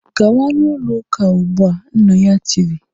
"Gawa n'ụlọ ụka ugbu a! Nna ya tiri